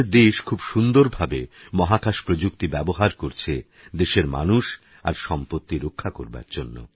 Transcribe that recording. আমাদেরদেশখুবসুন্দরভাবেমহাকাশপ্রযুক্তিব্যবহারকরছেদেশেরমানুষআরসম্পত্তিরক্ষাকরবারজন্য